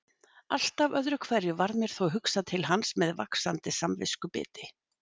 Alltaf öðru hverju varð mér þó hugsað til hans með vaxandi samviskubiti.